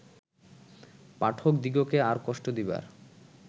পাঠকদিগকে আর কষ্ট দিবার